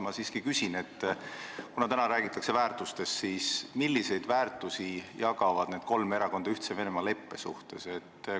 Ma siiski küsin, kuna täna räägitakse väärtustest: milliseid väärtusi jagavad need kolm erakonda Ühtse Venemaaga sõlmitud leppe kontekstis?